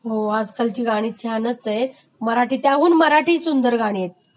हो आजकालची गाणी छानच आहेत आणि त्याहून मराठी...मराठी सुंदर गाणी आहेत.